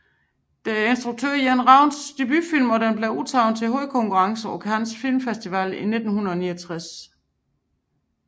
Det er instruktør Jens Ravns debutfilm og den blev udtaget til hovedkonkurrencen på Cannes Film Festival 1969